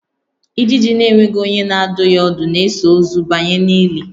Ijiji na-enweghị onye na-adụ ya ọdụ na-eso ozu banye n'ili